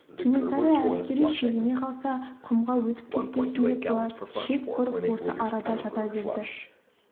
кенесары әскері шегіне қалса құмға өтіп кетпесін деп бұлар шеп құрып осы арада жата берді